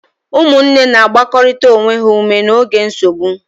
Ụmụnne na-agbakọrịta onwe ha ume n'oge nsogbu.